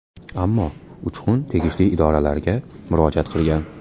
Ammo Uchqun tegishli idoralarga murojaat qilgan.